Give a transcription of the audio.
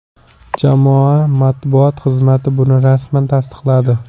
Jamoa matbuot xizmati buni rasman tasdiqladi.